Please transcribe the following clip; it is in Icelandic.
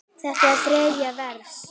Þetta er þriðja vers.